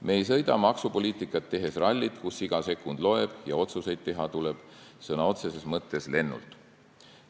Me ei sõida maksupoliitikat tehes rallit, kus iga sekund loeb ja otsuseid tuleb teha sõna otseses mõttes lennult.